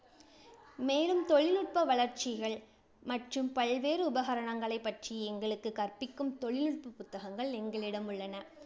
மேலும், தொழில்நுட்ப வளர்ச்சிகள் மற்றும் பல்வேறு உபகரணங்களைப் பற்றி எங்களுக்குக் கற்பிக்கும் தொழில்நுட்ப புத்தகங்கள் எங்களிடம் உள்ளன.